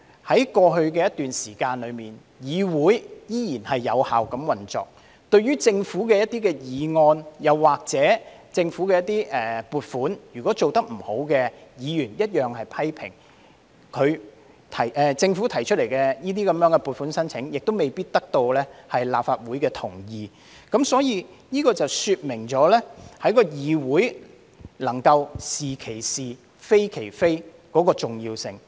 在過去一段時間，我們看到議會依然有效運作，對於政府的一些議案或撥款要求，如果政府做得不好，議員同樣作出批評，而政府提出的撥款要求亦未必得到立法會的同意，這說明了議會能夠"是其是，非其非"的重要性。